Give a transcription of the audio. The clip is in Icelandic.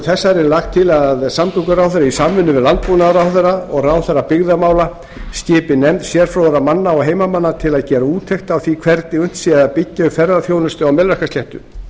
þessari er lagt til að samgönguráðherra í samvinnu við landbúnaðarráðherra og ráðherra byggðamála skipi nefnd sérfróðra manna og heimamanna til að gera úttekt á því hvernig unnt sé að byggja upp ferðaþjónustu á melrakkasléttu